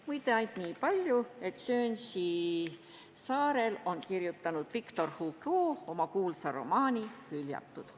Muide, lisan veel, et Guernsey saarel on Victor Hugo kirjutanud oma kuulsa romaani "Hüljatud".